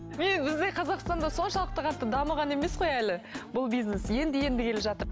міне бізде қазақстанда соншалықты қатты дамыған емес қой әлі бұл бизнес енді енді келе жатыр